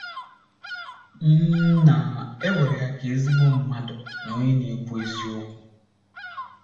M na - ewere ya ka ezigbo mmadụ na onye na - ekwu eziokwu.